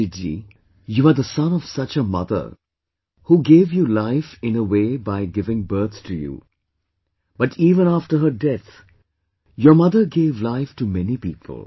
Abhijeet ji, you are the son of such a mother who gave you life in a way by giving birth to you, but even after her death, your mother gave life to many people